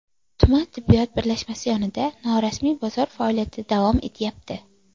Tuman tibbiyot birlashmasi yonida norasmiy bozor faoliyati davom etyapti.